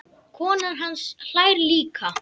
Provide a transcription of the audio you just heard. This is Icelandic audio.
Konan hans hlær líka.